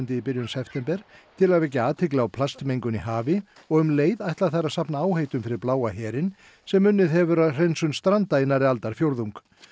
í byrjun september til að vekja athygli á plastmengun í hafi og um leið ætla þær að safna fyrir Bláa herinn sem unnið hefur að hreinsun stranda í nærri aldarfjórðung